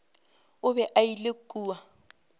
o be a ile kua